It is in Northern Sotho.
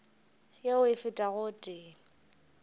yeo e fetago o tee